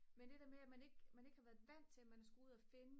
men det der med at man ikke har været vant til at man skulle ud at finde